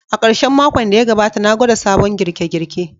A karshen makon da ya gabata, na gwada sabon girke-girke.